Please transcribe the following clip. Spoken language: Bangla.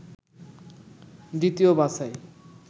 দ্বিতীয় বাছাই